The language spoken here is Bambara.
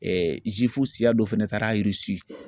zifu siya dɔ fɛnɛ taara Irisi